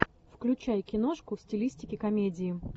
включай киношку в стилистике комедии